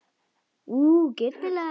Hún á heima þar sko.